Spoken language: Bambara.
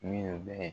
Minnu bɛ